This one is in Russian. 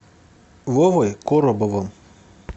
вовой коробовым